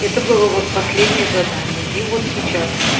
это было вот последнее задание и вот сейчас